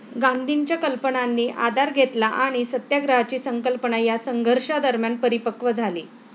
गांधींच्या कल्पनांनी आधार घेतला आणि सत्याग्रहाची संकल्पना या संघर्षादरम्यान परिपकव् झाली.